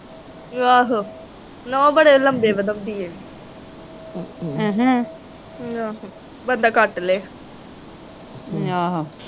ਆਹੋ ਨੋਹ ਬੜੇ ਲੰਬੇ ਵਧਾਉਂਦੀ ਇਹ ਵੀ ਆਹੋ ਬੰਦਾ ਕੱਟ ਲੈ